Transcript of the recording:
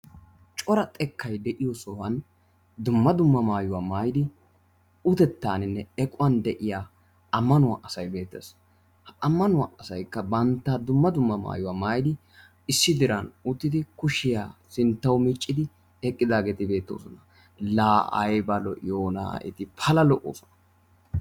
Cora xekkay de"iyo sohuwan dumma dumma maayuwa maayidi utetaaninne equwan de"iya ammannuwa asay beettes. Ha ammannuwa asayikka bantta dumma dumma maayuwa maayidi issi diran uttidi kushiyaa sinttawu miccidi eqqidaageeti beettoosona. Laa ayiba lo'iyoona eti pala lo"oosona!